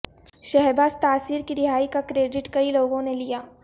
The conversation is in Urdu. شہباز تاثیر کی رہائی کا کریڈٹ کئی لوگوں نے لیا